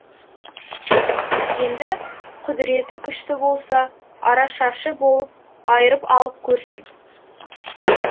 енді құдіреті күшті болса арашашы боп айырып алып көрсін